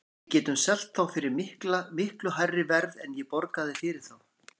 Við getum selt þá fyrir miklu hærra verð en ég borgaði fyrir þá.